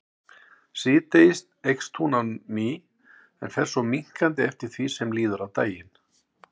Síðdegis eykst hún á ný en fer svo minnkandi eftir því sem líður á daginn.